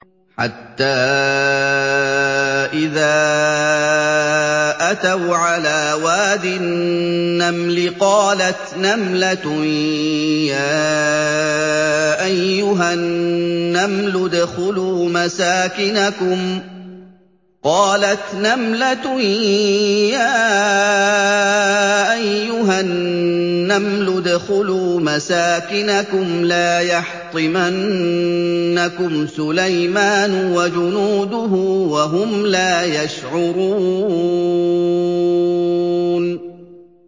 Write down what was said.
حَتَّىٰ إِذَا أَتَوْا عَلَىٰ وَادِ النَّمْلِ قَالَتْ نَمْلَةٌ يَا أَيُّهَا النَّمْلُ ادْخُلُوا مَسَاكِنَكُمْ لَا يَحْطِمَنَّكُمْ سُلَيْمَانُ وَجُنُودُهُ وَهُمْ لَا يَشْعُرُونَ